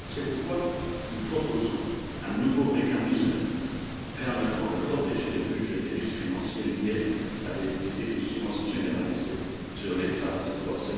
C'est pourquoi nous proposons un nouveau mécanisme permettant de protéger le budget des risques financiers liés à des déficiences généralisées sur l'état de droit.